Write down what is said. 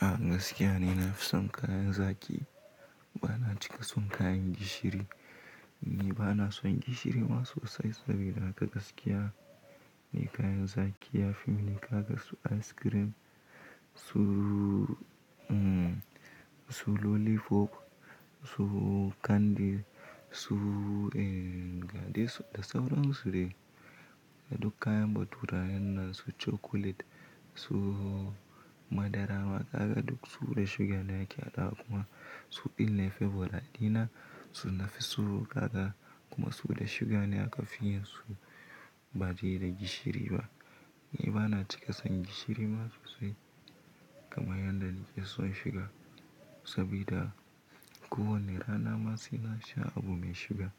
A gaskiya ni, na fi son kayan zaki, bana cika son kayan gishiri. Ni bana son gishiri ma sosai sabida haka gaskiya ne kayan zaki yafi min niƙa kasu ice cream, su lollipop, su candy, su gadis da sauran su dai. Duk kayan baturayen nasu chocolate su madara wa kaga duk su da suga ne ake haɗa kuma su ɗin ne favorite dina. To nafi su gaga kuma su da suga ne aka fi yin su baɗi da gishiri ba. Ni bana cika son gishiri ma sosai kamar yanda nake son shuga sabida ko wanna rana masu na sha abu mai shuga